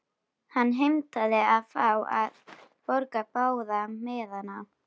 Hann heimtaði að fá að borga báða miðana.